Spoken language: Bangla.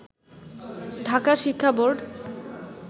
ঢাকা শিক্ষা বোর্ড